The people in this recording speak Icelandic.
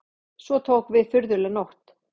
Svo tók við furðuleg nótt.